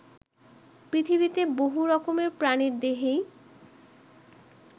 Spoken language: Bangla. পৃথিবীতে বহু রকমের প্রাণীর দেহেই